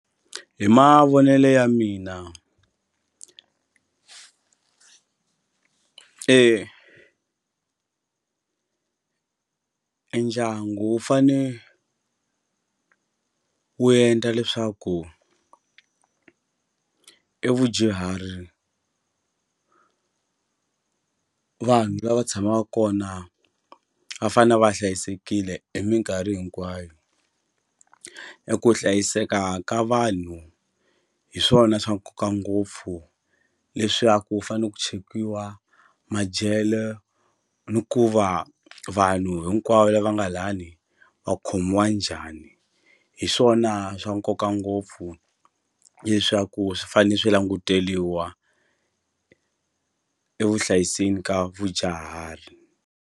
Hi mavonelo ya mina e e ndyangu wu fane wu endla leswaku evudyuharini vanhu lava tshamaka kona va fane va hlayisekile hi minkarhi hinkwayo eku hlayiseka ka vanhu hi swona swa nkoka ngopfu leswaku ku fanele ku chekiwa madyelo ni ku va vanhu hinkwavo lava nga lani va khomiwa njhani hi swona swa nkoka ngopfu leswaku swi fane swi languteliwa e vuhlayiseni ka vadyahari.